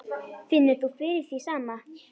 Finnur þú fyrir því sama?